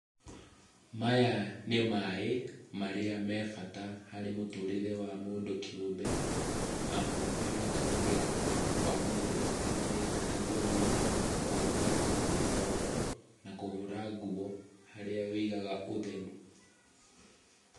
Maya nĩ maaĩ marĩa me bata harĩ mũtũrĩre wa mũndũ kĩũmbe amu amatũmagĩra kwa maũndũ matiganĩte ta kũnyua, kũruga o ho na kũhũra nguo, harĩa wĩigaga ũtheru.